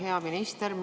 Hea minister!